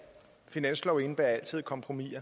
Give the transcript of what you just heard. et kompromis